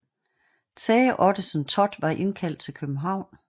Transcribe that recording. Tage Ottesen Thott var indkaldt til København